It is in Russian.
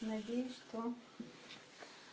надеюсь что